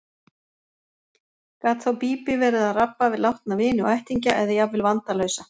Gat þá Bíbí verið að rabba við látna vini og ættingja eða jafnvel vandalausa.